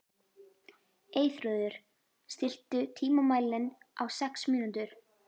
Eyþrúður, stilltu tímamælinn á sex mínútur.